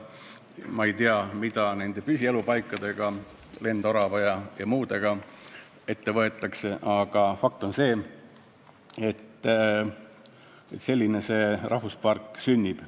Ma ei tea, mida nende lendorava püsielupaikadega ette võetakse, aga fakt on see, et selline see rahvuspark sünnib.